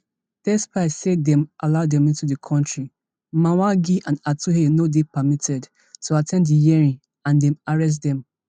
despite say dem allow dem into di kontri mwangi and atuhaire no dey permitted to at ten d di hearing and dem arrest dem